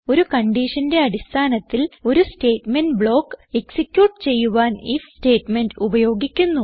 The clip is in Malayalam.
ഒരു കൺഡിഷന്റെ അടിസ്ഥാനത്തിൽ ഒരു സ്റ്റേറ്റ്മെന്റ് ബ്ലോക്ക് എക്സിക്യൂട്ട് ചെയ്യുവാൻ ഐഎഫ് സ്റ്റേറ്റ്മെന്റ് ഉപയോഗിക്കുന്നു